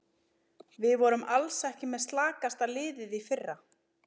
Við vorum alls ekki með slakasta liðið í fyrra.